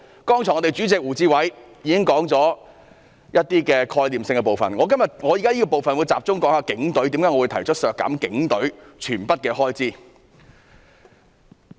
剛才我的黨主席胡志偉議員已經提到概念的部分，我現時會集中討論為何要削減警隊的全數開支。